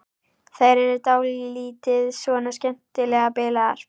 Þær eru dálítið svona skemmtilega bilaðar.